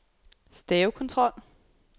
stavekontrol